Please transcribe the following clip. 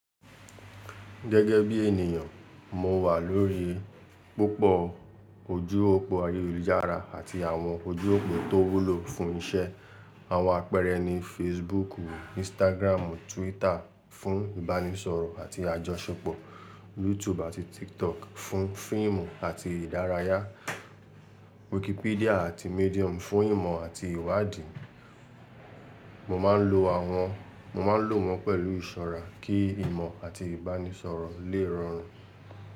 Gẹ́gẹ́ bí ènìyàn, mo wà lórí púpọ̀ ojú òpó ayélujára àti àwọn ojú òpó tó wúlò fún iṣẹ́. Àwọn àpẹẹrẹ ni Facebook, Instagram, Twitter fún ìbánisọ̀rọ̀ àti àjọṣepọ̀, YouTube àti TikTok fún fíìmù àti ìdárayá, Wikipedia àti Medium fún ìmọ̀ àti ìwádìí. Mo máa ń lo wọn pẹ̀lú ìṣọ́ra kí ìmọ̀ àti ìbánisọ̀rọ̀ lè rọrùn.